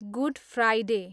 good Friday